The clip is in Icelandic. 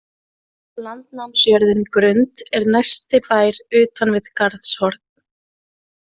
Landnámsjörðin Grund er næsti bær utan við Garðshorn.